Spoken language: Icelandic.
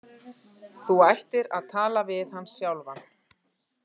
Þú ættir að tala við hann sjálfan.